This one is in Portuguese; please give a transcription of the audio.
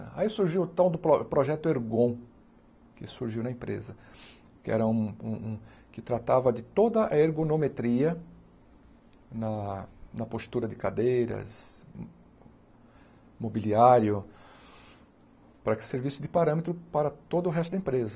Aí surgiu o tal do pro projeto Ergon, que surgiu na empresa, que era um um um... que tratava de toda a ergonometria na na postura de cadeiras, mobiliário, para que servisse de parâmetro para todo o resto da empresa.